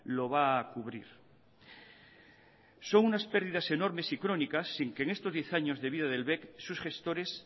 lo va a cubrir son unas pérdidas enormes y crónicas sin que en estos diez años de vida del bec sus gestores